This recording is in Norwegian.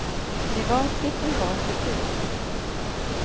private private private